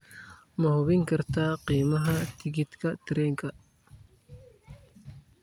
ma hubin kartaa qiimaha tigidhka tareenka